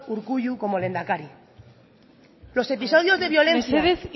urkullu como lehendakari los episodios de violencia mesedez